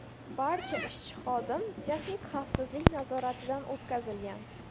Barcha ishchi-xodim texnik xavfsizlik nazoratidan o‘tkazilgan.